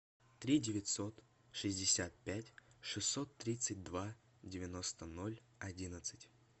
три девятьсот шестьдесят пять шестьсот тридцать два девяносто ноль одиннадцать